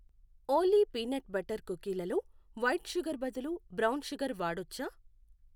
ఓలీ peanut butter కుకీలలో white sugar బదులు brown sugar వాడొచ్చా